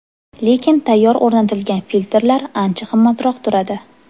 Lekin tayyor o‘rnatilgan filtrlar ancha qimmatroq turadi.